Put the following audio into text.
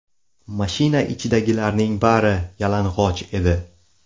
Mashina ichidagilarning bari yalang‘och edi.